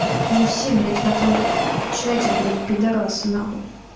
вы все блять в этом чате блять пидорасы нахуй